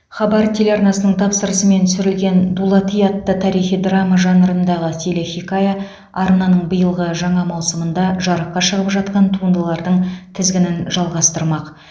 хабар телеарнасының тапсырысымен түсірілген дулати атты тарихи драма жанрындағы телехикая арнаның биылғы жаңа маусымында жарыққа шығып жатқан туындылардың тізгінін жалғастырмақ